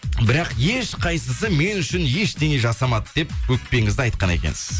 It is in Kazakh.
бірақ ешқайсысы мен үшін ештеңе жасамады деп өкпеңізді айтқан екенсіз